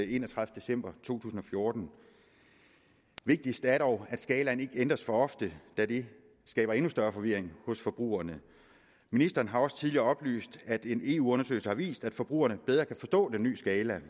enogtredivete december to tusind og fjorten vigtigst er det dog at skalaen ikke ændres for ofte da det skaber endnu større forvirring hos forbrugerne ministeren har også tidligere oplyst at en eu undersøgelse har vist at forbrugerne bedre kan forstå den ny skala